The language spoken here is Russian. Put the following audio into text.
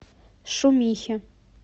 шумихе